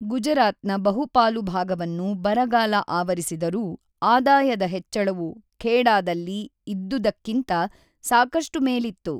ಗುಜರಾತ್‌ನ ಬಹುಪಾಲು ಭಾಗವನ್ನು ಬರಗಾಲ ಆವರಿಸಿದರೂ, ಆದಾಯದ ಹೆಚ್ಚಳವು ಖೇಡಾದಲ್ಲಿ ಇದ್ದುದಕ್ಕಿಂತ ಸಾಕಷ್ಟು ಮೇಲಿತ್ತು.